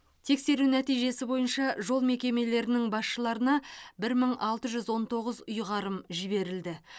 тексеру нәтижесі бойынша жол мекемелерінің басшыларына бір мың алты жүз он тоғыз ұйғарым жіберілді